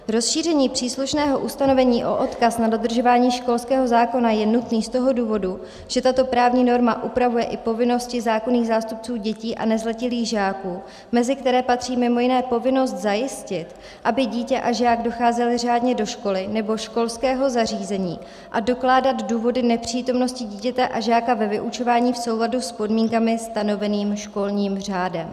Rozšíření příslušného ustanovení o odkaz na dodržování školského zákona je nutné z toho důvodu, že tato právní norma upravuje i povinnosti zákonných zástupců dětí a nezletilých žáků, mezi které patří mimo jiné povinnost zajistit, aby dítě a žák docházeli řádně do školy nebo školského zařízení, a dokládat důvody nepřítomnosti dítěte a žáka ve vyučování v souladu s podmínkami stanovenými školním řádem.